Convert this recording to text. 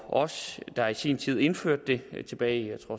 os der i sin tid indførte det var tilbage i